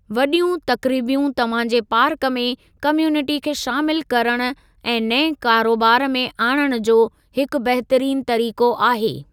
वॾियूं तक़रीबयूं तव्हां जे पार्क में कम्युनिटी खे शामिलु करणु ऐं नएं कारोबार में आणणु जो हिकु बहितरीनु तरीक़ो आहे।